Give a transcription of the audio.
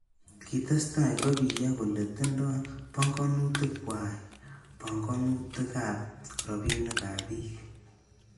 Kitestai kopiyo kole tindoi panganutik kwai panganutik ab robinik ab bik.